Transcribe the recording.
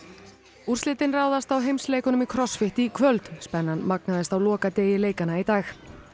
úrslitin ráðast á heimsleikunum í í kvöld spennan magnaðist á lokadegi leikanna í dag